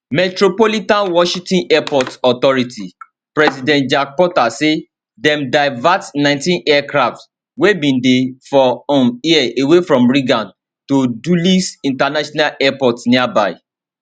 metropolitan washington airport authority president jack potter say dem divert 19 aircrafts wey bin dey for um air away from reagan to dulles international airport nearby